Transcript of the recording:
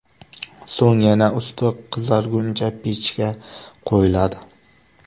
So‘ng yana usti qizarguncha pechga qo‘yiladi.